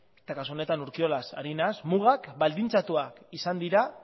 eta kasu honetan urkiolaz ari naiz mugak baldintzatuak izan dira